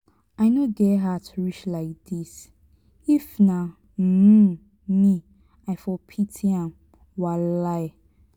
i no get heart reach like this if na um me i for pity am. um